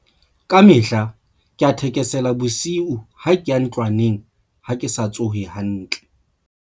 Kamehla ke a thekesela bosiu ha ke a ntlwaneng ha ke sa tsohe hantle.